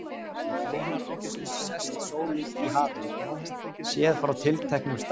Hvenær ársins sest sólin í hafið, séð frá tilteknum stað?